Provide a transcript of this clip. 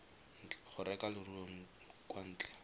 go reka leruo kwa ntle